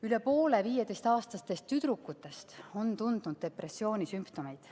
Üle poole 15‑aastastest tüdrukutest on tundnud depressiooni sümptomeid.